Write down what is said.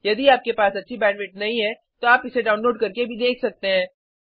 यदि आपके पास अच्छी बैंडविड्थ नहीं है तो इसे डाउनलोड करके भी देख सकते हैं